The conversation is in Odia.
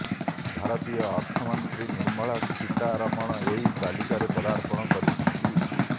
ଭାରତୀୟ ଅର୍ଥମନ୍ତ୍ରୀ ନିର୍ମଳା ସୀତାରମଣ ଏହି ତାଲିକାରେ ପଦାର୍ପଣ କରିଛନ୍ତି